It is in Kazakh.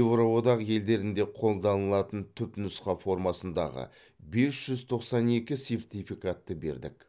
еуроодақ елдерінде қолданылатын түпнұсқа формасындағы бес жүз тоқсан екі сертификатты бердік